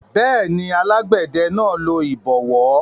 Bẹ́ẹ̀ni, alágbẹ̀dẹ náà lo ìbọwọ́